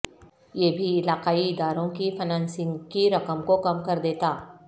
یہ بھی علاقائی اداروں کی فنانسنگ کی رقم کو کم کر دیتا